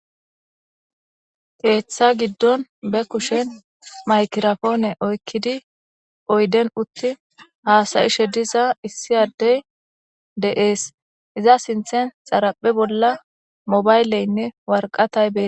Keeththa giddon be kushen maykirapoone oykkidi oyden utti haasayishe diza issiyadey de7ees iza sinthen xaraphe bolla mobayleynne warqatay ben.